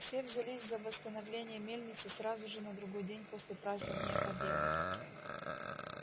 все взялись за восстановление мельницы сразу же на другой день после празднования победы